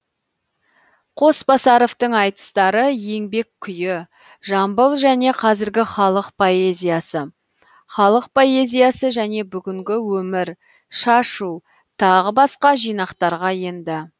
қосбасаровтың айтыстары еңбек күйі жамбыл және қазіргі халық поэзиясы халық поэзиясы және бүгінгі өмір шашу тағы басқа жинақтарға енді